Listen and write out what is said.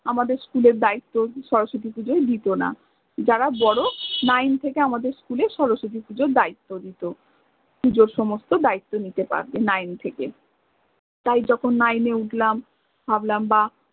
আমাদের school এ শরশতি পূজার দায়িত্ব আমাদের অত্টা দিত না যারা বড় nine থেকে আমাদের school এ শরশতি পূজার দায়িত্ব দিত, পূজোর সমস্ত দায়িত্ব নিতে পারবে nine থেকে, তাই যখন nine এ উঠলাম ভাবলাম বাহ